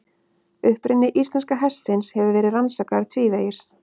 Uppruni íslenska hestsins hefur verið rannsakaður tvívegis.